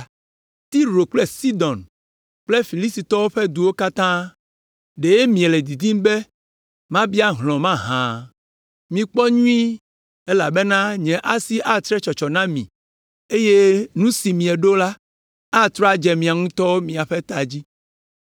“Tiro kple Sidon kple Filistitɔwo ƒe duwo katã, ɖe miele didim be miabia hlɔ̃ mahã? Mikpɔ nyuie elabena nye asi atre tsɔtsɔ na mi eye nu si mieɖo la atrɔ adze miawo ŋutɔ ƒe ta dzi.